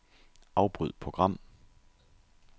Afbryd program.